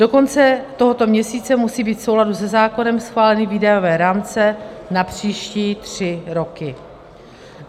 Do konce tohoto měsíce musí být v souladu se zákonem schváleny výdajové rámce na příští tři doky.